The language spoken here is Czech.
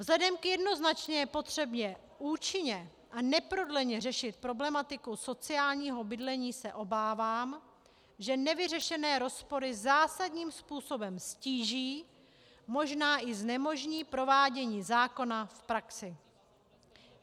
Vzhledem k jednoznačné potřebě účinně a neprodleně řešit problematiku sociálního bydlení se obávám, že nevyřešené rozpory zásadním způsobem ztíží, možná i znemožní provádění zákona v praxi.